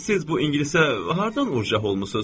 Siz bu ingilisə hardan ujax olmusuz?